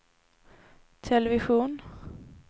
television